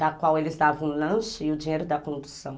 da qual eles davam o lanche e o dinheiro da condução.